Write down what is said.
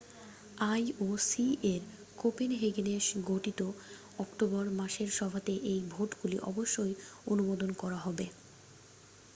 ioc-এর কোপেনহেগেনে ঘটিত অক্টোবর মাসের সভাতে এই ভোটগুলি অবশ্যই আনুমদন করা হবে।